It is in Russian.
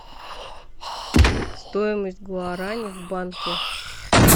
стоимость гуарани в банке